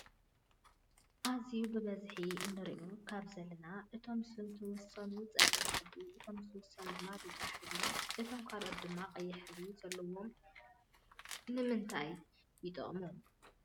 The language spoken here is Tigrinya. ኣዝዩ ብበዝሒ እንርእዮም ካብዘለና እቶም ዝተወሰኑ ፀሊም ሕብሪ እቶም ዝተወሰኑ ድማ ብጫ ሕብሪ እቶም ካልኣት ድማ ቀይሕ ሕብሪ ዘለው ንምንታይ ይጠቅሙ?